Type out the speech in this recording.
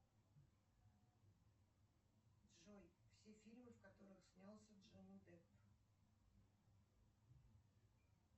джой все фильмы в которых снялся джонни депп